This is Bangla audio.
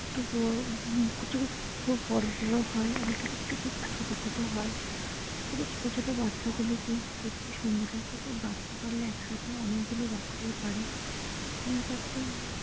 বড় কিছু কিছু বড় বড় হয় আবার কিছু কিছু কুকুর ছোট ছোট হয় কুকুরের ছোট ছোট বাচ্চাগুলোকে দেখতে সুন্দর কুকুর বাচ্চা পারলে অনেক গুলো বাচ্চাই পারে তিনচার টে।